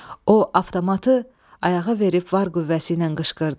O avtomatı ayağa verib var qüvvəsi ilə qışqırdı: